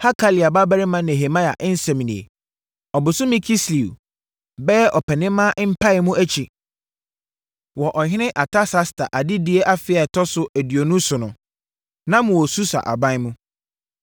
Hakalia babarima Nehemia nsɛm nie: Ɔbosome Kislew (bɛyɛ Ɔpɛnimaa) mpaemu akyi wɔ Ɔhene Artasasta adedie afe a ɛtɔ so aduonu so no, na mewɔ Susa aban mu.